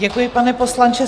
Děkuji, pane poslanče.